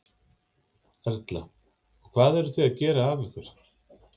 Erla: Og hvað eruð þið að gera af ykkur?